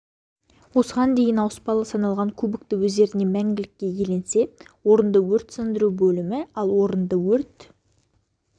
осыған дейін ауыспалы саналған кубокты өздеріне мәңгілікке иеленсе орынды өрт сөндіру бөлімі ал орынды өрт